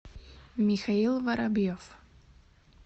михаил воробьев